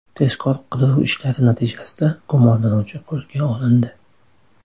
Tezkor-qidiruv ishlari natijasida gumonlanuvchi qo‘lga olindi.